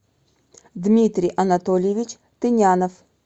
дмитрий анатольевич тынянов